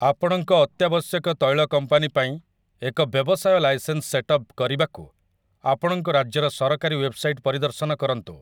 ଆପଣଙ୍କ ଅତ୍ୟାବଶ୍ୟକ ତୈଳ କମ୍ପାନୀ ପାଇଁ ଏକ ବ୍ୟବସାୟ ଲାଇସେନ୍ସ ସେଟ୍ଅପ୍ କରିବାକୁ, ଆପଣଙ୍କ ରାଜ୍ୟର ସରକାରୀ ୱେବ୍‌ସାଇଟ୍‌ ପରିଦର୍ଶନ କରନ୍ତୁ ।